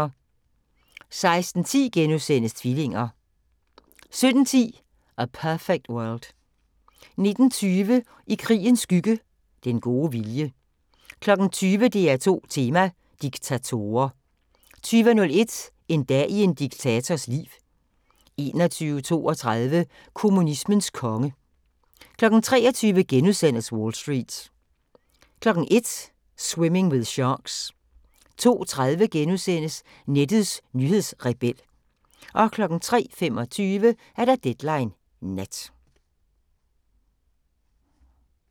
16:10: Tvillinger * 17:10: A Perfect World 19:20: I krigens skygge – Den gode vilje 20:00: DR2 Tema: Diktatorer 20:01: En dag i en diktators liv 21:32: Kommunismens konge 23:00: Wall Street * 01:00: Swimming with Sharks 02:30: Nettets nyhedsrebel * 03:25: Deadline Nat